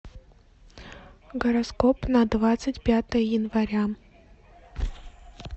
гороскоп на двадцать пятое января